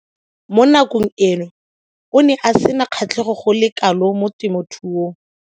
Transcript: Mo nakong eo o ne a sena kgatlhego go le kalo mo temothuong.